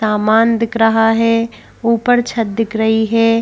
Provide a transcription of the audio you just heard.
सामान दिख रहा है ऊपर छत दिख रही है।